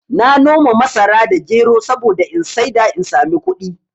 Na noma masara da gero saboda in saida in sami kuɗi